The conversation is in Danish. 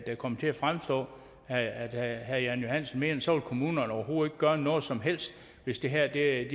der kommer til at fremstå at herre jan johansen mener altså at kommunerne overhovedet gøre noget som helst hvis de her